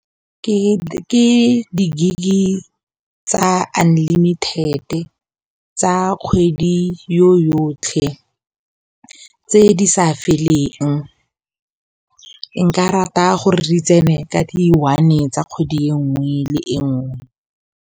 Ke di gig tsa unlimited tsa kgwedi yo yotlhe tse di sa feleng, nka rata gore re tsene ka di one tsa kgwedi e nngwe le e nngwe.